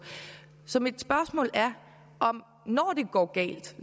så mit spørgsmål er når det går galt